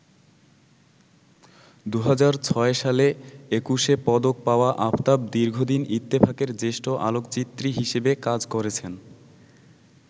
২০০৬ সালে একুশে পদক পাওয়া আফতাব দীর্ঘদিন ইত্তেফাকের জ্যেষ্ঠ আলোকচিত্রী হিসাবে কাজ করেছেন।